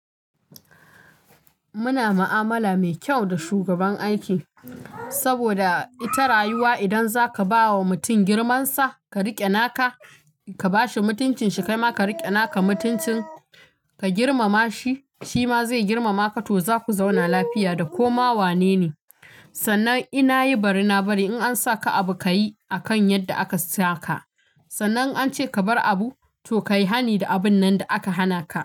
Muna ma'amala mai kyau da shugaban aiki saboda ita rayuwa idan zaka ba wa mutum girman sa ka riƙe naka ka bashi mutuncin shi kaima ka riƙe naka mutuncin ka girmama shi shi ma zai girmama ka to za ku zauna lafiya da koma wanene. Sannan ina yi bari na bari in an saka abu ka yi akan yadda aka saka. Sannan an ce ka bar abu to kai hani da abun nan da aka hana ka.